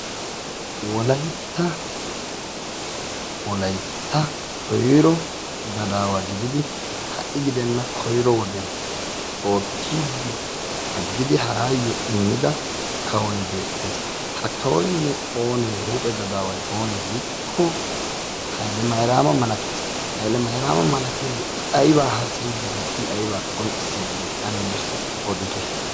Wolaytta wolaytta koyro gadaawa gididi ha"i gidenna koyro wodiyan oottiiddi aggidi haraayyi immida kawoyi beettes. Ha kawoyinne oonee huuphe gadaawayinne oonee giikko haylemayraama malates haylemayraama malatiyage i ayba haasayiiddi de"ii i ayiba qonccissiiddi de"ii ane nuussi odite.